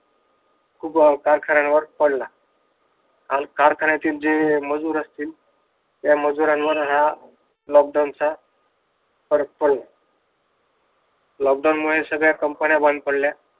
खूप कारखान्यावर पडला. आणि कारखान्याचे जे मजूर असतील त्या मजुरांवर हा लॉकडाऊनचा फरक पडला लॉकडाऊन मुळे सगळ्या कंपन्या बंद पडल्या.